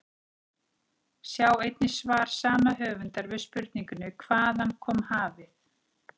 Sjá einnig svar sama höfundar við spurningunni Hvaðan kom hafið?